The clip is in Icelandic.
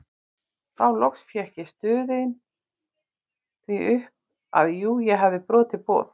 Þá loks fékk ég stunið því upp að jú ég hefði brotið boð